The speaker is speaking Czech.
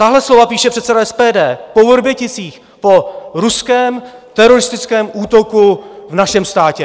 Tahle slova píše předseda SPD po Vrběticích, po ruském teroristickém útoku v našem státě.